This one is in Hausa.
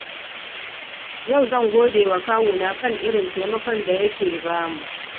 Yau zan gode wa kawuna kan irin taimakon da yake ba mu.